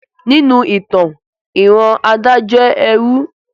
Ninu itan, iran Ada jẹ ẹrú